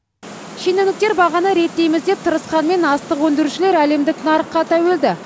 шенеуніктер бағаны реттейміз деп тырысқанымен астық өндірушілер әлемдік нарыққа тәуелді